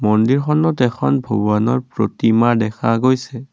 মন্দিৰখনত এখন ভগৱানৰ প্ৰতিমা দেখা গৈছে।